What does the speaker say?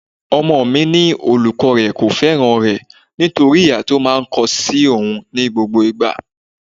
Ọmọ mi ní olùkọ́ rẹ kò fẹ́ràn rẹ nítorí ìhà tí ó máa ń kó sí oùn ní gbogbo ìgbà.